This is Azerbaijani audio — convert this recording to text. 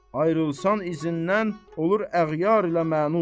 Ayrılarsan izindən olur əğyar ilə məns.